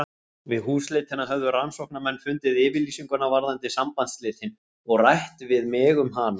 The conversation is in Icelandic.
Við húsleitina höfðu rannsóknarmenn fundið yfirlýsinguna varðandi sambandsslitin og rætt við mig um hana.